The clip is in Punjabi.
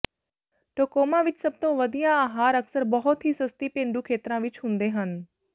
ਟੋਕੋਮਾ ਵਿੱਚ ਸਭ ਤੋਂ ਵਧੀਆ ਆਹਾਰ ਅਕਸਰ ਬਹੁਤ ਹੀ ਸਸਤੀ ਪੇਂਡੂ ਖੇਤਰਾਂ ਵਿੱਚ ਹੁੰਦੇ ਹਨ